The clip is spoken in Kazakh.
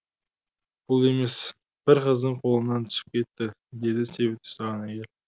бұл емес бір қыздың қолынан түсіп кетті деді себет ұстаған әйел